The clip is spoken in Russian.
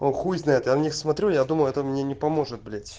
о хуй знает я на них смотрю я думаю это мне не поможет блять